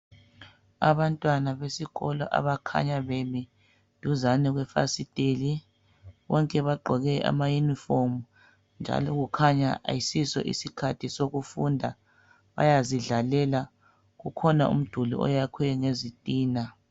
Abantwana besikolo bakhanya bemi duzane kwefasiteli bonke bagqoke amayunifomu njalo kukhanya ayisiso isikhathi sokufunda bayazidlalela ukhona umduli oyakhwe ngezitina